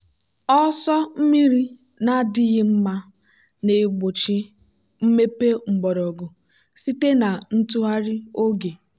ọsọ mmiri na-adịghị mma na-egbochi mmepe mgbọrọgwụ site na ntụgharị oge.